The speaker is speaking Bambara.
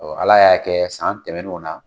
Ala y'a kɛ san tɛmɛnniw na